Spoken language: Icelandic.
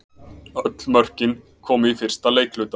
Öll mörkin komu í fyrsta leikhluta